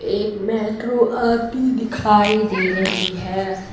एक मेट्रो आती दिखाई दे रही है।